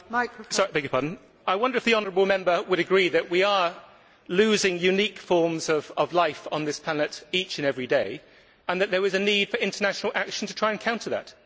Madam President, I wonder if the honourable Member would agree that we are losing unique forms of life on this planet each and every day and that there is a need for international action to try and counter that?